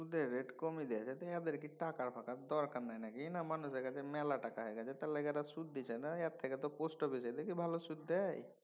সুদের rate কমিয়ে দিয়েছে এদের কি টাকা ফাকার দরকার নাই নাকি কিনা মানুষের কাছে মেলা টাকা হয়া গেছে এলিগে কারো সুদ দিছে না এর থেকে তো দেখি পোস্টঅফিসে দেখি ভালো সুদ দেয়।